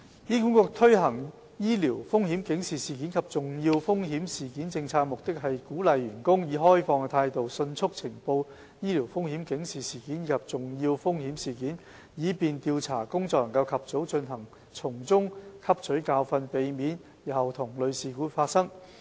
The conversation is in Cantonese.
醫管局推行醫療風險警示事件及重要風險事件政策的目的，是鼓勵員工以開放態度迅速呈報醫療風險警示事件及重要風險事件，以便調查工作能及早進行，並從中汲取教訓，避免日後同類事故發生。